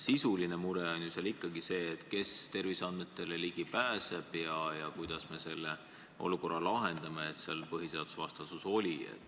Sisuline mure on ju ikkagi see, kes terviseandmetele ligi pääseb ja kuidas me selle olukorra, et seal oli vastuolu põhiseadusega, lahendame.